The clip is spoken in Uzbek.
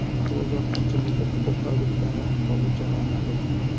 Parvozlar qancha muddatga to‘xtatilgani hozircha noma’lum.